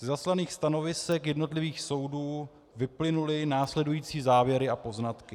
Ze zaslaných stanovisek jednotlivých soudů vyplynuly následující závěry a poznatky.